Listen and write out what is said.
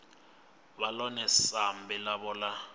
vhe ḽone sambi ḽavho ḽa